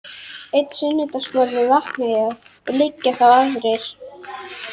Einn sunnudagsmorgun vakna ég og liggja þá aðrir